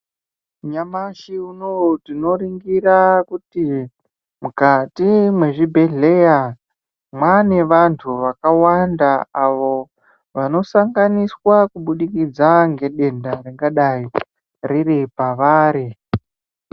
Nyamashi unowu tinoringira kuti mukati mezvibhedhleya mane vantu vakawanda avo vangasanganiswa kubudikidza ngedenda ringadai riri pavari.